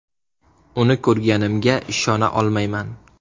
Uni ko‘rganimga ishona olmayman.